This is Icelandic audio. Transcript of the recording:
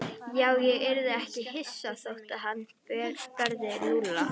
Já, ég yrði ekki hissa þótt hann berði Lúlla.